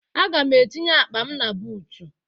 Aga m etinye akpa m na buutu.